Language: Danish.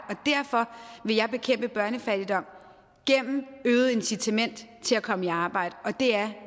derfor vil jeg bekæmpe børnefattigdom gennem øget incitament til at komme i arbejde og det er